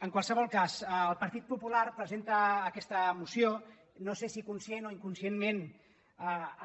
en qualsevol cas el partit popular presenta aquesta moció no sé si conscientment o inconscientment